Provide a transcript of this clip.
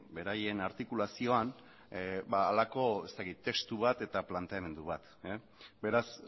beraien artikulazioan halako testu bat eta planteamendu bat beraz